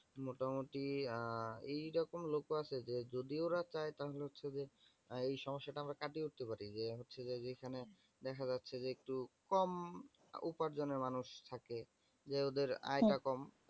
মোটামুটি আহ এইরকম লোক ও আছে যে, যদি ওরা চাই তাহলে হচ্ছে যে, এই সমস্যা তা আমরা কাটিয়ে উঠতে পারি। যে হচ্ছে যে, যেইখানে দেখা যাচ্ছে যে একটু কম উপার্জনের মানুষ থাকে যে ওদের আয় টা কম।